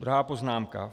Druhá poznámka.